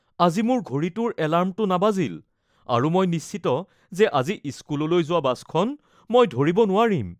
আজি মোৰ ঘড়ীটোৰ এলাৰ্মটো নাবাজিল আৰু মই নিশ্চিত যে আজি স্কুললৈ যোৱা বাছখন মই ধৰিব নোৱাৰিম।